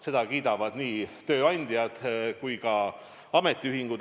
Seda kiidavad nii tööandjad kui ka ametiühingud.